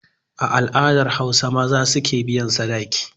A al'adar Hausa, maza su ke biyan sadaki.